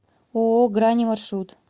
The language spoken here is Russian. ооо грани маршрут